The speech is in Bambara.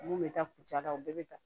Mun bɛ taa kucala u bɛɛ bɛ ta